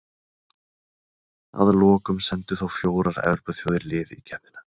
Að lokum sendu þó fjórar Evrópuþjóðir lið í keppnina.